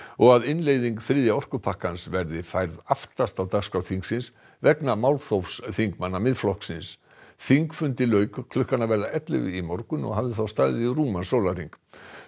og að innleiðing þriðja orkupakkans verði færð aftast á dagskrá þingsins vegna málþófs þingmanna Miðflokksins þingfundi lauk klukkan að verða ellefu í morgun og hafði þá staðið í rúman sólarhring